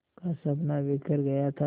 का सपना बिखर गया था